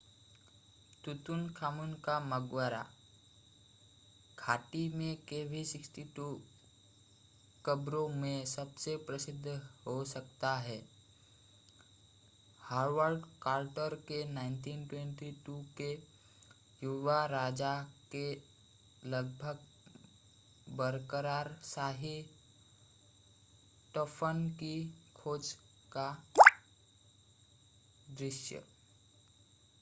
Tutankhamun kv62 का मकबरा। घाटी में kv62 कब्रों में सबसे प्रसिद्ध हो सकता है हावर्ड कार्टर के 1922 के युवा राजा के लगभग बरकरार शाही दफन की खोज का दृश्य।